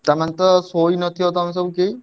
ତମେ ତ ଶୋଇନଥିବ ତମେ ସବୁ କେହି?